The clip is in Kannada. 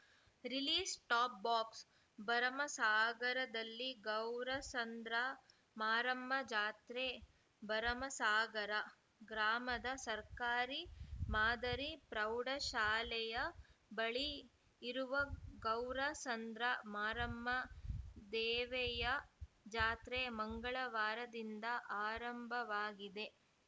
ರಿಲೀಸ್‌ ಟಾಪ್‌ ಬಾಕ್ಸ ಭರಮಸಾಗರದಲ್ಲಿ ಗೌರಸಂದ್ರ ಮಾರಮ್ಮ ಜಾತ್ರೆ ಭರಮಸಾಗರ ಗ್ರಾಮದ ಸರ್ಕಾರಿ ಮಾದರಿ ಪ್ರೌಢಶಾಲೆಯ ಬಳಿ ಇರುವ ಗೌರಸಂದ್ರ ಮಾರಮ್ಮ ದೇವೆಯ ಜಾತ್ರೆ ಮಂಗಳವಾರದಿಂದ ಆರಂಭವಾಗಿದೆ